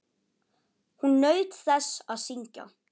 Hún naut þess að syngja.